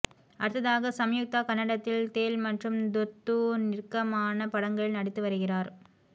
அடுத்ததாக சம்யுக்தா கன்னடத்தில் தேல் மற்றும் துர்தூ நிர்கமான படங்களில் நடித்து வருகிறார்